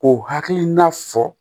K'o hakilina fɔ